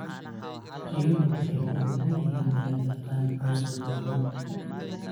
Riyuhu waxay ku habboon yihiin inay daaqaan cawska gaaban.